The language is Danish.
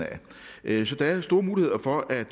af der er store muligheder for at